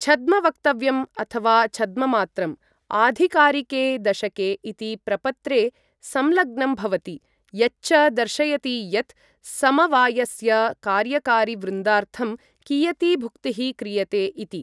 छद्मवक्तव्यम्, अथवा छद्ममात्रम्, आधिकारिके दशके इति प्रपत्रे संलग्नं भवति यच्च दर्शयति यत् समवायस्य कार्यकारिवृन्दार्थं कियती भुक्तिः क्रियते इति।